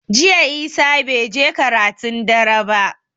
Jiya Isah bai je karatun dare ba